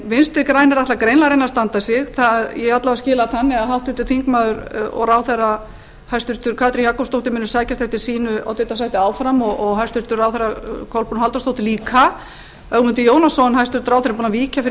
vinstri grænir ætla greinilega að reyna að standa sig ég alla vega skil það þannig að háttvirtur þingmaður og ráðherra hæstvirtrar katrín jakobsdóttir muni sækjast eftir sínu oddvitasæti áfram og hæstvirtur ráðherra kolbrún halldórsdóttir líka ögmundur jónasson hæstvirtur ráðherra er búinn að víkja fyrir